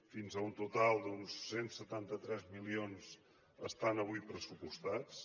fins a un total d’uns cent i setanta tres milions estan avui pressupostats